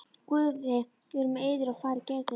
Guð veri með yður og farið gætilega.